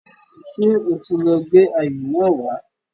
Ṣé o ti lọ gbé ayò náà wá